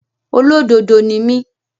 Olódodo ni mí.